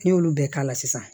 N'i y'olu bɛɛ k'a la sisan